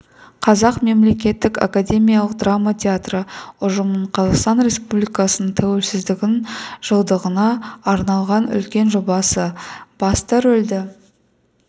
қазақ мемлекеттік академиялық драма театры ұжымының қазақстан республикасының тәуелсіздігінің жылдығына арнаған үлкен жобасы басты рөлді